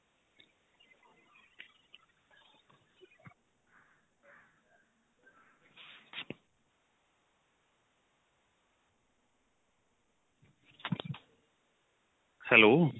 hello